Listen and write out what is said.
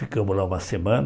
Ficamos lá uma semana.